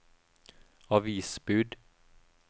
avisbud